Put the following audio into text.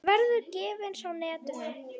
Hún verður gefins á netinu.